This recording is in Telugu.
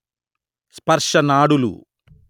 స్పర్శ నాడులు